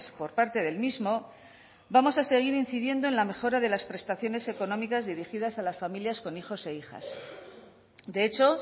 por parte del mismo vamos a seguir incidiendo en la mejora de las prestaciones económicas dirigidas a las familias con hijos e hijas de hecho